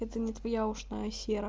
это не твоя ушная сера